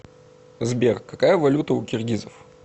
сбер какая валюта у киргизов